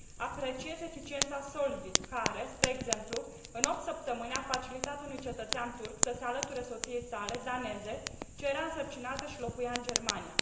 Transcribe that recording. Apreciez eficiența SOLVIT care, spre exemplu, în opt săptămâni, a facilitat unui cetățean turc să se alăture soției sale daneze ce era însărcinată și locuia în Germania.